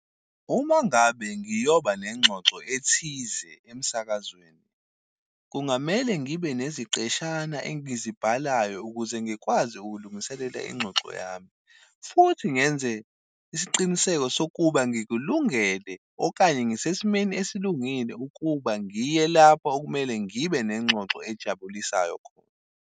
Uma ngabe ngiyoba nengxoxo ethize emsakazweni, kungamele ngibe neziqeshana engizibalayo ukuze ngikwazi ukulungiselela ingxoxo yami. Futhi ngenze isiqiniseko sokuba ngikulungele okanye ngisesimeni esilungile ukuba ngiye lapho okumele ngibe nengxoxo ejabulisayo khona.